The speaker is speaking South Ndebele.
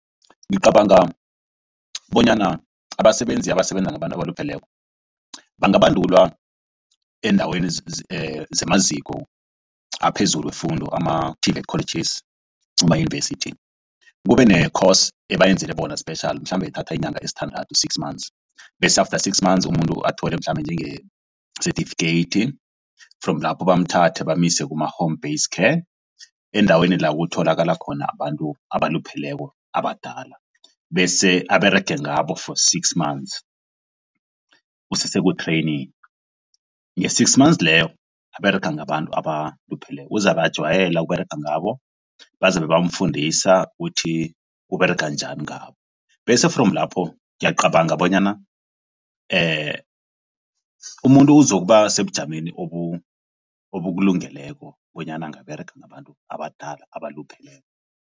Ngicabanga bonyana abasebenzi abasebenza ngabantu abalupheleko bangabandulwa eendaweni zamaziko aphezulu wefundo ama-TVET colleges, amayunivesithi. Kube ne-course abayenzele bona special mhlambe ithatha iinyanga ezisithandathu six months bese after six months umuntu athole mhlambe njenge-certificate. From lapho bamthathe bamuse kuma-home base care endaweni la kutholakala khona abantu abalupheleko abadala bese aberege ngabo for six months useseku-training. Nge-six months leyo aberega ngabantu abalupheleko uzabe ajwayela ukuberega ngabo bazabe bamfundisa kuthi uberega njani ngabo bese from lapho ngiyacabanga bonyana umuntu uzokuba sebujameni obukulungeleko bonyana angaberega ngabantu abadala abalupheleko.